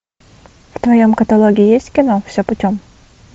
в твоем каталоге есть кино все путем